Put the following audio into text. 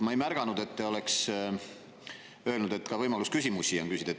Ma ei märganud, et te oleks öelnud, et on ka võimalus küsimusi küsida.